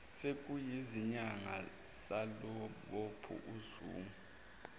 sekuyizinyanga salubopha uzungu